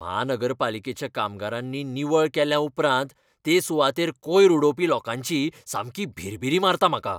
म्हानगरपालिकेच्या कामगारांनी निवळ केल्या उपरांत ते सुवातेर कोयर उडोवपी लोकांची सामकी भिरभिरी मारता म्हाका.